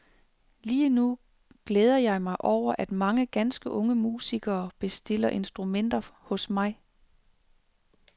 Lige nu glæder jeg mig over, at mange ganske unge musikere bestiller instrumenter hos mig.